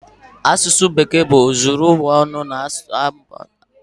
Asụsụ Bekee bụ ozuru ụwa ọnụ na Naịjirịa.